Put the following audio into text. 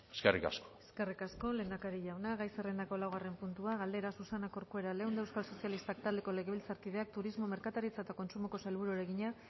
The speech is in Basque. eskerrik asko eskerrik asko lehendakari jauna gai zerrendako laugarren puntua galdera susana corcuera leunda euskal sozialistak taldeko legebiltzarkideak turismo merkataritza eta kontsumoko sailburuari egina